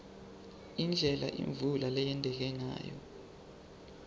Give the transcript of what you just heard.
indlela imvula leyenteka ngayo